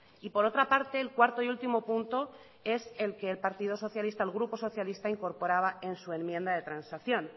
y por otra parte el cuarto y último punto es el que el partido socialista el grupo socialista incorporaba en su enmienda de transacción